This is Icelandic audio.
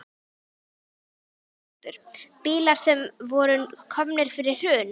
Lillý Valgerður Pétursdóttir: Bílar sem voru komnir fyrir hrun?